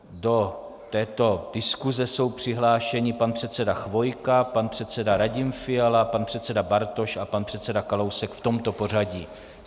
Do této diskuse jsou přihlášeni pan předseda Chvojka, pan předseda Radim Fiala, pan předseda Bartoš a pan předseda Kalousek v tomto pořadí.